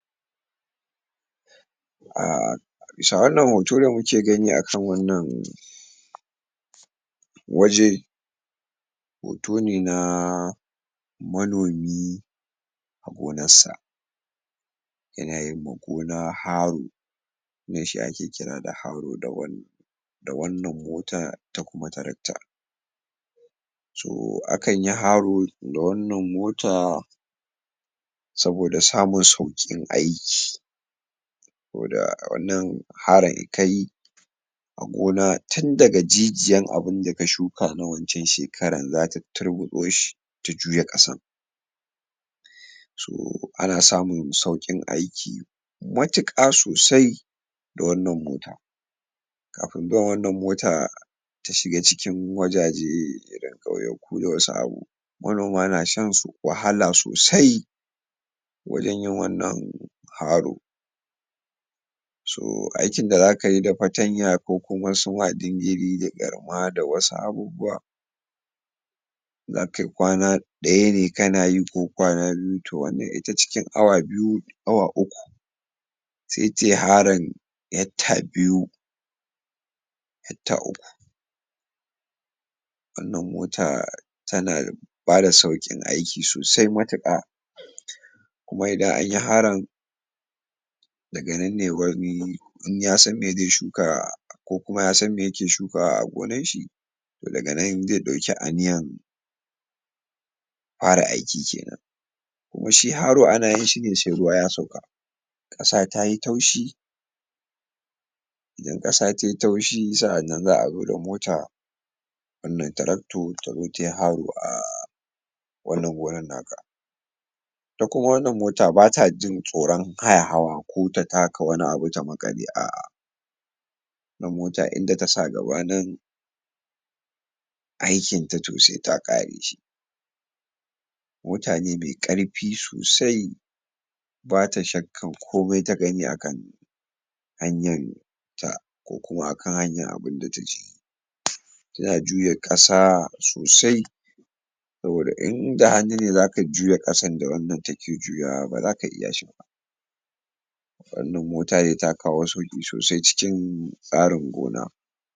a bisa wannan da muke gani akan wannan waje hoto ne na manomi a gonarsa yana yinma gona haru wannan shi ake kira da haru da wannan mota ta kuma tarakta to akanyi haru da wannan mota saboda samun saboda samun sauƙin aiki ko da wannan harun kayi a gona tun daga jijiyan abunda ka shuka na wacan shekaran zata turbuɗoshi ta juya ƙasan to ana samun sauƙin aiki matuƙa sosai da wannan mota kafin zuwan wannan mota ta shiga cikin wajaje iri kauyaku da wasu abu manoma nashan wahala sosai wajan yin wannan haru so aikin da zakayi da fatanya ko kuma su ma dingiri da garma da wasu abubbuwa zakai ƙwana ɗaya ne kana yi ko ƙwana biyu to wannan ita cikin awa biyu awa uku sai tayi harun hekta biyu hekta uku wannan mota tana bada sauƙin aiki sosai matuƙa kuma idan anyi harun daganan ne wani in yasan me zai shuka ko kuma yasan me yake shukawa a gonanshi to daga nan zai ɗauki aniyan fara aiki kenan kuma shi haru anayin shine sai ruwa ya sauka ƙasa tayi taushi idan ƙasa tayi taushi sa'annan za abude mota wannan traktor tazo tayi haru a wannan gonan naka ita kuma wannan mota batajin tsoran haya hawa ko ta taka wani abu ta maƙale a wannan mota inda tasa gaba nan aikinta saita ƙareshi mota ne me ƙarfi sosai bata shakkan komai ta gani akan hanyanta ko kuma akan hanyan abunda taje tana juya ƙasa sosai saboda inda hannu ne zaka juya ƙasan da wannan take juyawa baza ka iya shiba wannan mota dai ta kawo sauƙi sosai cikin tsarin gona.